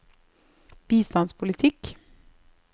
bistandspolitikk